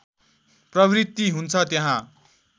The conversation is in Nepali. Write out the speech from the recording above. प्रवृत्ति हुन्छ त्यहाँ